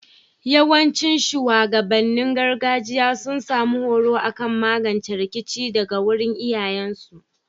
Yawancin shugabannin gargajiya sun samu horo akan magance rikici daga wurin iyayen su